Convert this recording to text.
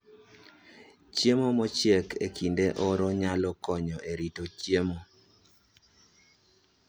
Chiemo mochiek e kinde oro nyalo konyo e rito chiemo